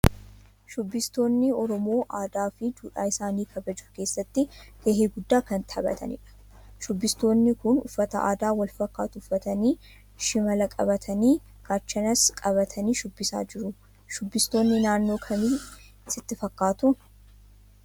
Shubbistoonni Oromoo aadaa fi duudhaa isaanii kabajuu keessatti gahee guddaa kan taphatanidha. Shubistoonni kun uffata aadaa wal fakkaatu uffatanii, shimala qabtanii, gaachanas qabatanii shubbisaa jiru. Shubbistootaa naannoo kamii sitti fakkaatu?